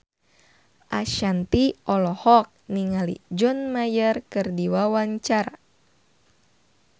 Ashanti olohok ningali John Mayer keur diwawancara